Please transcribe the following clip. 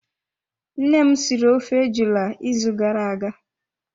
Nne m siri ofe ejula ịzụ gara aga.